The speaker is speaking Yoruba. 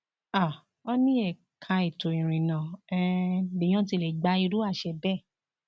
um ó ní ẹka ètò ìrìnnà um lèèyàn ti lè gba irú àṣẹ bẹẹ